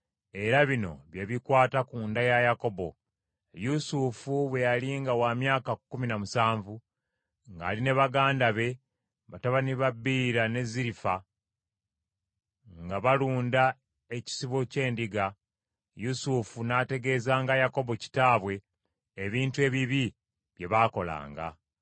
Era bino bye bifa ku lulyo lwa Yakobo: Yusufu bwe yali nga wa myaka kkumi na musanvu ng’ali ne baganda be batabani ba Biira ne Zirifa, nga balunda ekisibo ky’endiga, Yusufu n’ategeezanga Yakobo kitaabwe ebintu ebibi bye baakolanga.